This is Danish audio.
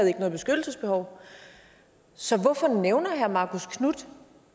noget beskyttelsesbehov så hvorfor nævner herre marcus knuth